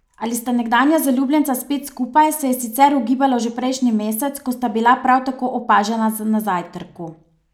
Ali sta nekdanja zaljubljenca spet skupaj, se je sicer ugibalo že prejšnji mesec, ko sta bila prav tako opažena na zajtrku.